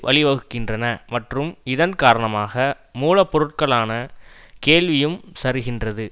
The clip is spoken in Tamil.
வழிவகுக்கின்றன மற்றும் இதன் காரணமாக மூலப்பொருட்களுக்கான கேள்வியும் சரிகின்றது